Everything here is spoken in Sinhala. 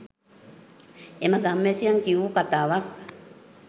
එම ගම්වැසියන් කියූ කතාවක්